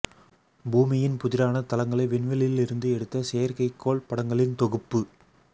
பூமியின் புதிரான தளங்களை விண்வெளியில் இருந்து எடுத்த செயற்கைக்கோள் படங்களின் தொகுப்பு